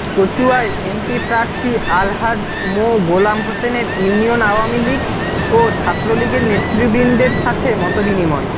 কচুয়ায় MP প্রার্থী আলহাজ্ব মোঃ গোলাম হোসেনের union Awami League ও ছাত্রলীগের নেতৃবৃন্দের সাথে মতবিনিময়